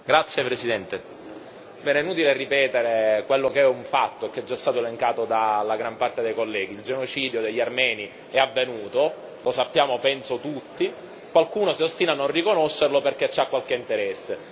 Signor Presidente, onorevoli colleghi, è inutile ripetere quello che è un fatto e che è già stato elencato dalla gran parte dei colleghi il genocidio degli armeni è avvenuto, lo sappiamo penso tutti, qualcuno si ostina a non riconoscerlo perché ha qualche interesse.